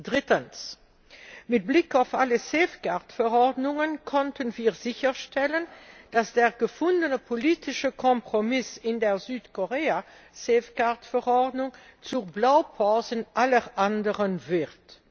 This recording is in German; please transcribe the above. Drittens Mit Blick auf alle Safeguard Verordnungen konnten wir sicherstellen, dass der gefundene politische Kompromiss in der Südkorea Safeguard Verordnung zur Blaupause aller anderen wird.